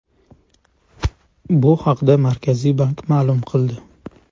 Bu haqda Markaziy bank ma’lum qildi .